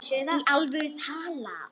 Í alvöru talað.